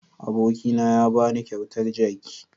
Abokina ya ba ni kyautar jaki.